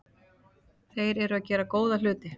Þeir eru að gera góða hluti.